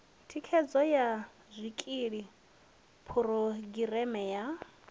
thikhedzo ya zwikili phurogireme ya